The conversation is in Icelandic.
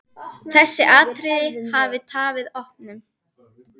Þessi atriði hafi tafið opnun.